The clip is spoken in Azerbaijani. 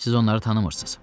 Siz onları tanımırsız.